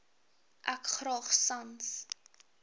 ek graag sans